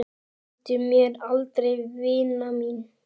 Gleymdu mér aldrei vina mín.